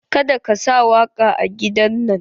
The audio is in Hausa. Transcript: Ka da ka sa waƙa a gidan nan!